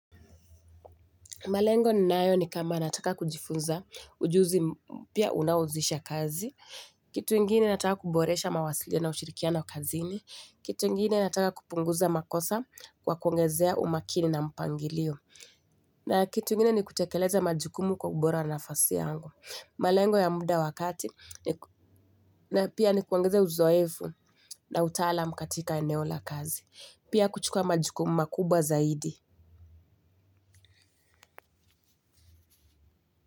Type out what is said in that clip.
Malengo ni nayo ni kama nataka kujifunza ujuzi mpya unaoanzisha kazi. Kitu ingini nataka kuboresha mawasiliano na ushirikiano kazini. Kitu ingini nataka kupunguza makosa kwa kuongezea umakini na mpangilio. Na kitu ingini ni kutekeleza majukumu kwa ubora nafasi yangu. Malengo ya muda wa kati na pia ni kuongeze uzoefu na utaalam katika eneo la kazi. Pia kuchukua majukumu makubwa zaidi.